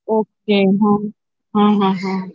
okay हा हा ह